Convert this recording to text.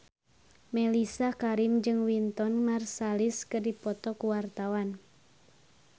Mellisa Karim jeung Wynton Marsalis keur dipoto ku wartawan